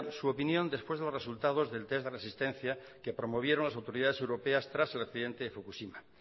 su opinión después de los resultados del test de resistencia que promovieron las autoridades europeas tras el accidente de fukushima